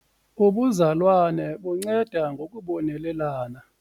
Ubuzalwane bunceda ngokubonelelana.